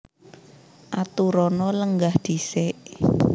Aturana lenggah dhisik